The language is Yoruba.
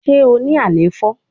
Ṣe o ni àléfọ?